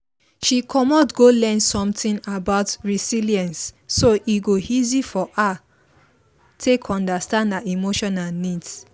she commot go learn something about resilience so e go easy for her take understand her emotional needs